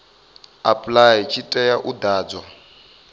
apply tshi tea u ḓadzwa